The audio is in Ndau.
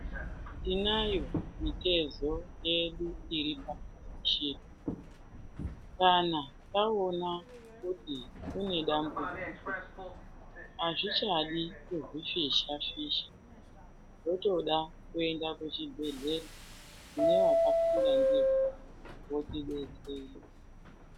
Tinayo mitezo yedu iri pashi kana taona kuti une dambudziko hazvichadi kuzvifisha-fisha. Unotoda kuenda kuchibhedhlera nevakafunda ndivo votibetsera.